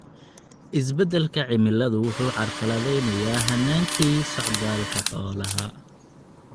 Isbeddelka cimiladu waxa uu carqaladaynayaa hannaankii socdaalka xoolaha.